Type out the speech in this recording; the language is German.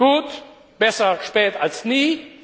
Gut, besser spät als nie.